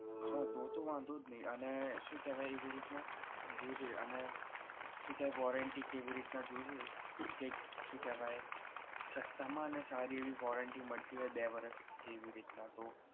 હા તો તો વાંધો નહી એ શું કેહવાય એવી રીતના જોજે અને શું કેહવાય warranty કેવી રીતના જોજે કે શું કેહવાય સસ્તા માં અને સારી એવી warranty મળતી હોય બે વર્ષ કે એવી રીતના તો